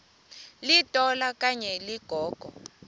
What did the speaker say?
litola okanye ligogo